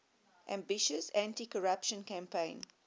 ambitious anticorruption campaign